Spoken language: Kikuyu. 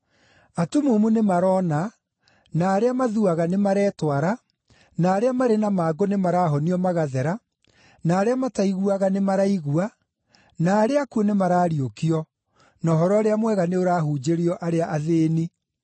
Atumumu nĩmaroona, na arĩa mathuaga nĩmaretwara, na arĩa marĩ na mangũ nĩmarahonio magathera, na arĩa mataiguaga nĩ maraigua, na arĩa akuũ nĩmarariũkio, na Ũhoro-ũrĩa-Mwega nĩũrahunjĩrio arĩa athĩĩni.